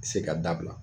Se ka dabila